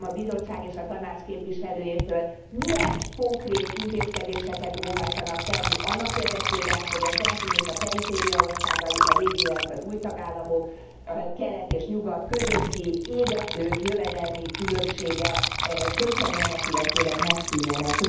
Kérdezem a Bizottság és a Tanács képviselőjétől milyen konkrét intézkedéseket óhajtanak tenni annak érdekében, hogy a centrum és a periféria országai, a régi, illetve az új tagállamok, a kelet és nyugat közötti égető jövedelmi különbségek csökkenjenek, illetőleg megszűnjenek?